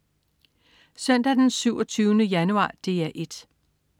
Søndag den 27. januar - DR 1: